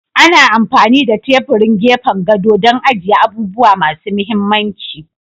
Ana amfani da teburin gefen gado don agiye abubuwa masu mahimmanci.